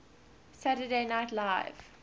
saturday night live